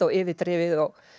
yfirdrifið